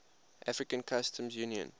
african customs union